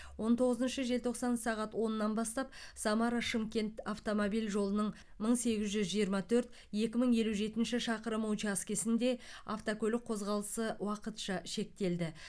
он тоғызыншы желтоқсан сағат оннан бастап самара шымкент автомобиль жолының мың сегіз жүз жиырма төрт екі мың елу жетінші шақырымы учаскесінде автокөлік қозғалысы уақытша шектелді